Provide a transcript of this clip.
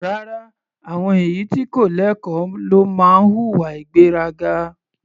Rárá, àwọn èyí tí kò lẹ́kọ̀ọ́ ló máa ń hùwà ìgbéraga.